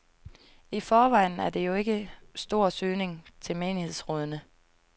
I forvejen er der jo ikke stor søgning til menighedsrådene.